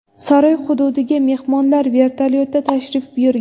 Saroy hududiga mehmonlar vertolyotda tashrif buyurgan.